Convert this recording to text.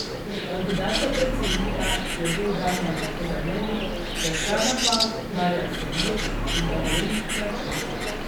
Kandidat za predsednika je bil Damjan Kozamernik, za člana pa Marjan Senjur in Davorin Kračun.